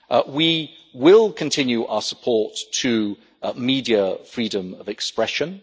We will continue our support to media freedom of expression.